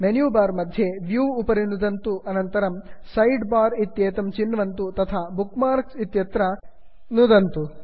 menu bar मध्ये view view उपरि नुदन्तु अनन्तरं साइडबार सैड् बार् इत्येतं चिन्वन्तु तथा बुकमार्क्स् बुक् मार्क् इत्यत्र नुदन्तु